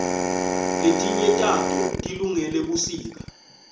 letinye tato tilungele busika